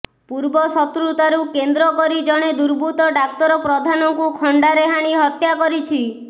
ପୂର୍ବ ଶତ୍ରୁତାରୁ କେନ୍ଦ୍ର କରି ଜଣେ ଦୁର୍ବୃତ୍ତ ଡ଼ାକ୍ତର ପ୍ରଧାନଙ୍କୁ ଖଣ୍ଡାରେ ହାଣି ହତ୍ୟା କରିଛି